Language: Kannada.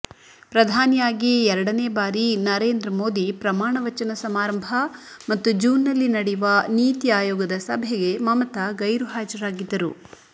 ಪ್ರಧಾನಿಯಾಗಿ ಎರಡನೇ ಬಾರಿ ನರೇಂದ್ರ ಮೋದಿ ಪ್ರಮಾಣವಚನ ಸಮಾರಂಭ ಮತ್ತು ಜೂನ್ನಲ್ಲಿ ನಡೆಯುವ ನೀತಿ ಆಯೋಗದ ಸಭೆಗೆ ಮಮತಾ ಗೈರುಹಾಜರಾಗಿದ್ದರು